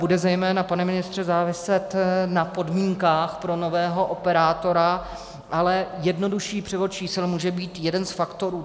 Bude zejména, pane ministře, záviset na podmínkách pro nového operátora, ale jednodušší převod čísel může být jeden z faktorů.